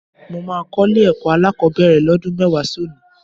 Mo máa kọ́ ilé-ẹ̀kọ́ alákọ̀ọ́bẹ̀rẹ̀ lọ́dún mẹ́wàá sí òní